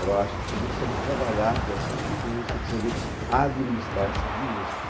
Agora, acho que você tem que saber trabalhar com essas mudanças, tem que saber administrar essas mudanças.